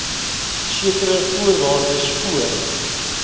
sekere voorwaardes voor